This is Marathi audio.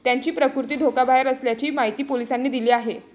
त्यांची प्रकृती धोक्याबाहेर असल्याची माहिती पोलिसांनी दिली आहे.